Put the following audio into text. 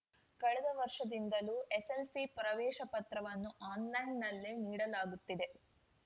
ಕಳೆದ ವರ್ಷದಿಂದಲೂ ಎಸ್ಸೆಲ್ಸಿ ಪ್ರವೇಶ ಪತ್ರವನ್ನು ಆನ್‌ಲೈನ್‌ನಲ್ಲಿ ನೀಡಲಾಗುತ್ತಿದೆ